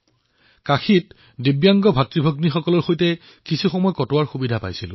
তাতে মই কিছু দিব্যাংগ ভাতৃভগ্নীসকলৰ সৈতে সময় অতিবাহিত কৰাৰ অৱকাশ পালো